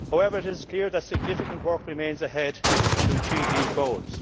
It is clear that significant work remains ahead to achieve these goals.